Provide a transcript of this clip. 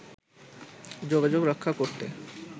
যোগাযোগ রক্ষা করতে